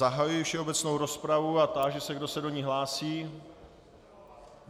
Zahajuji všeobecnou rozpravu a táži se, kdo se do ní hlásí.